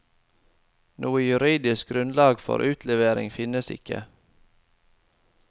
Noe juridisk grunnlag for utlevering finnes ikke.